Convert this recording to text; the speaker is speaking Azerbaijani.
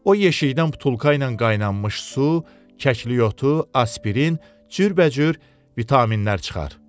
O yeşikdən butulka ilə qaynanmış su, kəklik otu, aspirin, cürbəcür vitaminlər çıxar.